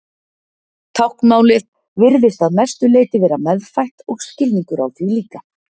Táknmálið virðist að mestu leyti vera meðfætt og skilningur á því líka.